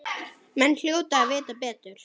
Menn hljóta að vita betur.